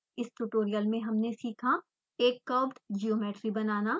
इस ट्यूटोरियल में हमने सीखा: एक कर्व्ड वक्रीय ज्योमेट्री बनाना